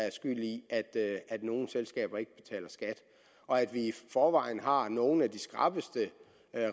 er skyld i at nogle selskaber ikke betaler skat og at vi i forvejen har nogle af de skrappeste